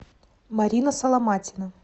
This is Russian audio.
марина соломатина